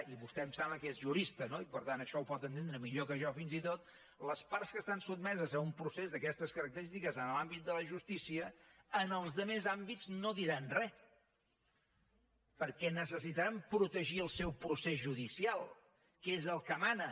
i vostè em sembla que és jurista no i per tant això ho pot entendre millor que jo fins i tot les parts que estan sotmeses a un procés d’aquestes característiques en l’àmbit de la justícia en els altres àmbits no diran res perquè necessitaran protegir el seu procés judicial que és el que mana